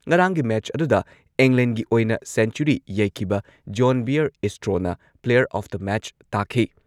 ꯉꯔꯥꯡꯒꯤ ꯃꯦꯆ ꯑꯗꯨꯗ ꯏꯪꯂꯦꯟꯗꯒꯤ ꯑꯣꯏꯅ ꯁꯦꯟꯆꯨꯔꯤ ꯌꯩꯈꯤꯕ ꯖꯣꯟ ꯕꯤꯌꯔ ꯏꯁꯇ꯭ꯔꯣꯅ ꯄ꯭ꯂꯦꯌꯔ ꯑꯣꯐ ꯗ ꯃꯦꯆ ꯇꯥꯈꯤ ꯫